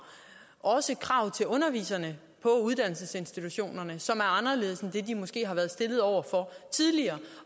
også krav til underviserne på uddannelsesinstitutionerne som er anderledes end dem de måske har været stillet over for tidligere